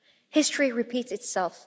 History repeats itself.